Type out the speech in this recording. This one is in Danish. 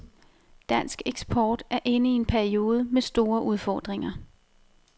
Dansk eksport er inde i en periode med store udfordringer.